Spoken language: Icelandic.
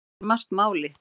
Þar skiptir margt máli.